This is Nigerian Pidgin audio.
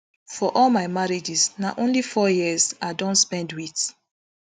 for all my marriages na only four years i don spend wit